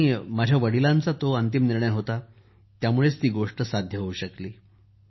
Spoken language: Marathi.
आणि माझ्या वडलांचा जो अंतिम निर्णय होता त्यामुळे ही गोष्ट होऊ शकली